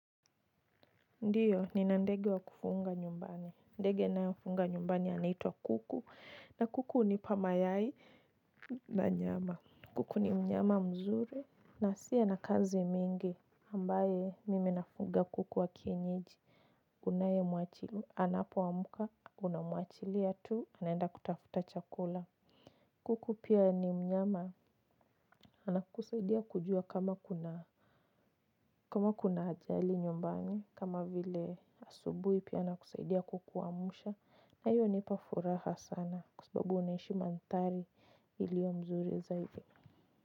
Ndio, nina ndege wa kufunga nyumbani. Ndege ninayofunga nyumbani anaitwa kuku. Na kuku hunipa mayai na nyama. Kuku ni mnyama mzuri. Na asiye na kazi mingi. Ambaye mimi nafuga kuku wa kienyiji. Unaye mwachili anapoamka. Unamwachilia tu. Anaenda kutafuta chakula. Kuku pia ni mnyama anakusaidia kujua kama kuna ajali nyumbani. Kama vile asubuhi pia anakusaidia kukuamusha na hiyo hunipa furaha sana kwa sababu naishi mandhari iliyo mzuri zaidi.